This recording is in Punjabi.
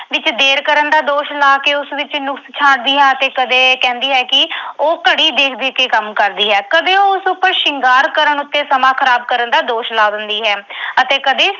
ਵਿੱਚ ਦੇਰ ਕਰਨ ਦਾ ਦੋਸ਼ ਲਾ ਕੇ ਉਸ ਵਿੱਚ ਨੁਕਸ ਛਾਂਟਦੀ ਹੈ ਅਤੇ ਕਦੇ ਕਹਿੰਦੀ ਹੈ ਕਿ ਉਹ ਘੜੀ ਦੇਖ ਦੇਖ ਕੇ ਕੰਮ ਕਰਦੀ ਹੈ। ਕਦੇ ਉਹ ਉਸ ਉੱਪਰ ਸ਼ਿੰਗਾਰ ਕਰਨ ਉੱਤੇ ਸਮਾਂ ਖ਼ਰਾਬ ਕਰਨ ਦਾ ਦੋਸ਼ ਲਾ ਦਿੰਦੀ ਹੈ ਅਤੇ ਕਦੇ